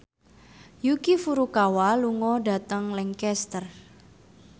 Yuki Furukawa lunga dhateng Lancaster